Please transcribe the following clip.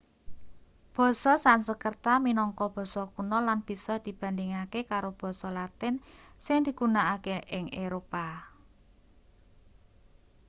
basa sansekerta minangka basa kuna lan bisa dibandhingake karo basa latin sing digunakake ing eropa